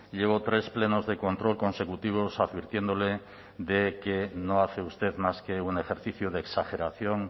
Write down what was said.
llevo tres plenos de control consecutivos advirtiéndole de que no hace usted más que un ejercicio de exageración